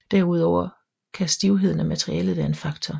Derudover kan stivheden af materialet være en faktor